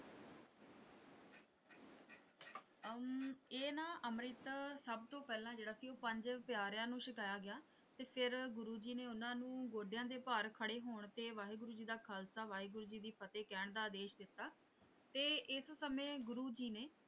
ਅਮ ਇਹ ਨਾ ਅੰਮ੍ਰਿਤ ਸਭ ਤੋਂ ਪਹਿਲਾਂ ਜਿਹੜਾ ਸੀ ਉਹ ਪੰਜ ਪਿਆਰਿਆਂ ਨੂੰ ਛਕਾਇਆ ਗਿਆ ਤੇ ਫਿਰ ਗੁਰੂ ਜੀ ਨੇ ਉਹਨਾਂ ਨੂੰ ਗੋਡਿਆਂ ਦੇ ਭਾਰ ਖੜ੍ਹੇ ਹੋਣ ਤੇ ਵਾਹਿਗੁਰੂ ਜੀ ਦਾ ਖ਼ਾਲਸਾ ਵਾਹਿਗੁਰੂ ਜੀ ਦੀ ਫ਼ਤਹਿ ਕਹਿਣ ਦਾ ਆਦੇਸ਼ ਦਿੱਤਾ ਤੇ ਇਸ ਸਮੇਂ ਗੁਰੂ ਜੀ ਨੇ।